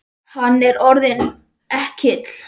Hann er orðinn ekkill.